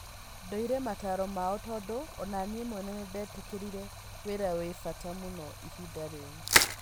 "Ndoire mataaro mao tondũ onaniĩ mwene nĩndetĩkĩrire wĩra wĩ bata mũno ihinda rĩu.